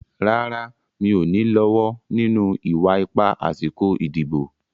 Rárá, mi ò ní lọ́wọ́ nínú ìwà ipá àsìkò ìdìbò.